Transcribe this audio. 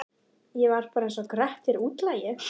Ég var bara einsog Grettir útlagi.